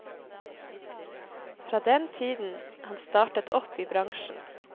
Fra den tiden han startet opp i bransjen.